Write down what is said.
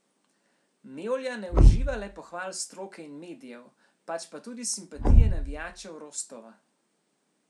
Mevlja ne uživa le pohval stroke in medijev, pač pa tudi simpatije navijačev Rostova.